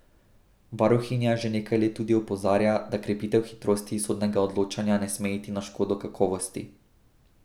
Varuhinja že nekaj let tudi opozarja, da krepitev hitrosti sodnega odločanja ne sme iti na škodo kakovosti.